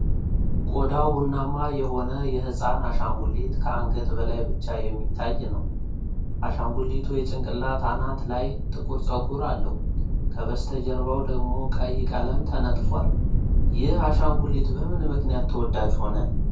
ቆዳው ቡናማ የሆነ የህፃን አሻንጉሊት ከአንገት በላይ ብቻ የሚታይ ነው። አሻንጉሊቱ የጭንቅላቱ አናት ላይ ጥቁር ፀጉር አለው፣ ከበስተጀርባው ደግሞ ቀይ ቀለም ተነጥፏል። ይህ አሻንጉሊት በምን ምክንያት ተወዳጅ ሆነ?